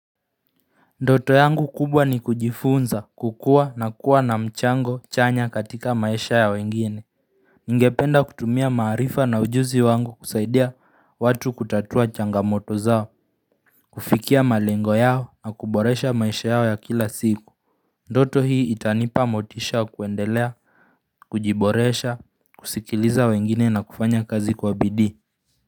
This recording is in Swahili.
Ndoto yangu kubwa ni kujifunza kukua na kuwa na mchango chanya katika maisha ya wengine Ningependa kutumia maarifa na ujuzi wangu kusaidia watu kutatua changamoto zao kufikia malengo yao na kuboresha maisha yao ya kila siku Ndoto hii itanipa motisha kuendelea, kujiboresha, kusikiliza wengine na kufanya kazi kwa bidii.